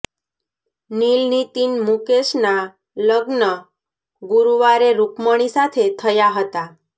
નીલ નીતિન મૂકેસના લ્ગન ગુરૂવારે રૂકમિણી સાથે થયા હતા